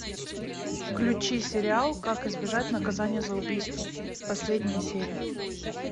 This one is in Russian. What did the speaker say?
включи сериал как избежать наказание за убийство последняя серия